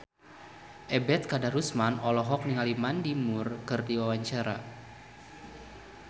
Ebet Kadarusman olohok ningali Mandy Moore keur diwawancara